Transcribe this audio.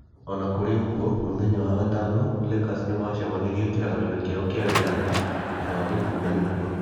O na kũrĩ ũguo, mũthenya wa gatano, Lakers nĩ maacemanirie kĩharoinĩ kĩao kĩa wĩyathi thutha wa Gikunda gũkua.